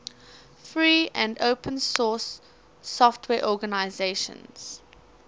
free and open source software organizations